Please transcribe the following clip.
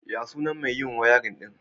Ya sunan mai yin wiring ɗin?